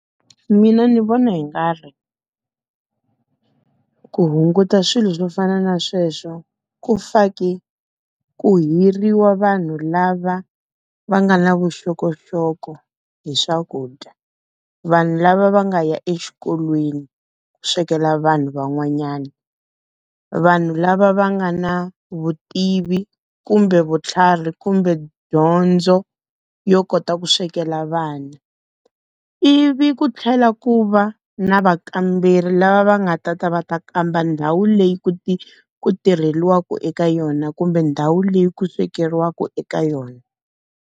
Mina ni vona hi nga ri ku hunguta swilo swo fana na sweswo, ku faki, ku hiriwa vanhu lava va nga na vuxokoxoko hi swakudya. Vanhu lava va nga ya exikolweni ku swekela vanhu van'wanyana. Vanhu lava va nga na vutivi kumbe vutlhari kumbe dyondzo, yo kota ku swekela vanhu. Ivi ku tlhela ku va na vakamberi lava va nga ta ta va ta kamba ndhawu leyi ku ku tirheriwaka eka yona kumbe ndhawu leyi ku swekeriwaka eka yona.